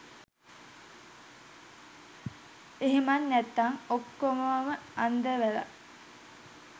එහෙමත් නැත්නම් ඔක්කොවම අන්දවලා